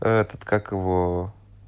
этот как его